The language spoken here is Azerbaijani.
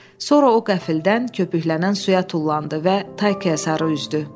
Sonra o qəfildən köpüklənən suya tullandı və Taykaya sarı üzdü.